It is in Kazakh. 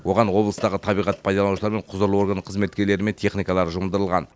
оған облыстағы табиғат пайлаланушылар мен құзырлы орган қызметкерлері мен техникалары жұмылдырылған